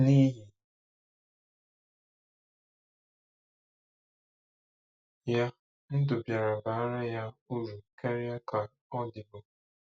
N’ihi ya, ndụ bịara baara ya uru karịa ka ọ dịbu.